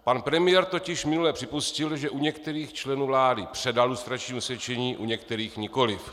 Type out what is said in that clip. Pan premiér totiž minule připustil, že u některých členů vlády předal lustrační osvědčení, u některých nikoliv.